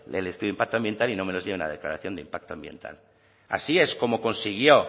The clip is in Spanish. el estudio de impacto ambiental y no me los lleven a declaración de impacto ambiental así es como consiguió